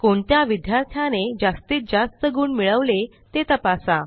कोणत्या विद्यार्थ्याने जास्तीत जास्त गुण मिळवले ते तपासा